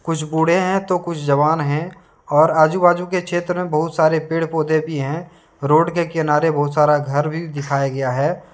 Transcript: कुछ बूढ़े हैं तो कुछ जवान हैं और आजू बाजू के क्षेत्र में बहुत सारे पेड़ पौधे भी हैं रोड के किनारे बहुत सारा घर भी दिखाया गया है।